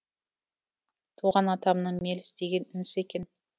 туған атамның меліс деген інісі екен